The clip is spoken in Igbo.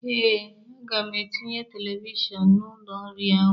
Ee, aga m etinye televishọn n'ụlọ nri ahụ.